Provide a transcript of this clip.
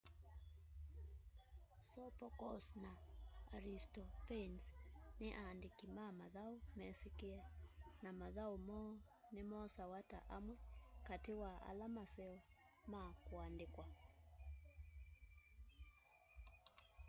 sophocles na aristophanes ni aandiki ma mathau mesikie na mathau moo ni mosawa ta amwe kati wa ala maseo ma kuandikwa